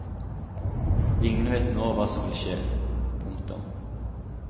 Ingen vet nå hva som vil skje. punktum